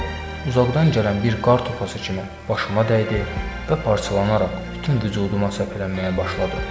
Bu cavab uzaqdan gələn bir qar topası kimi başıma dəydi və parçalanaraq bütün vücuduma səpələnməyə başladı.